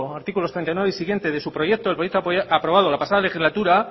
artículos treinta y nueve y siguientes de su proyecto el proyecto aprobado la pasada legislatura